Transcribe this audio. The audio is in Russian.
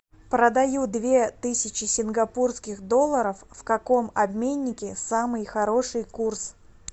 продаю две тысячи сингапурских долларов в каком обменнике самый хороший курс